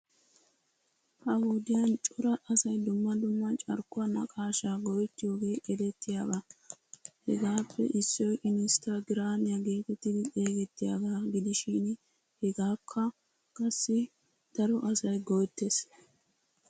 Ha wodiyan cora asay dumma dumma carkkuwaa naqaashaa go'ettiyoogee erettiyaaba. Hegaappe issoy inistaagiraamiyaa geetettidi xeegettiyaagaa gidishin hegaakka qassi daro asay go'ettes.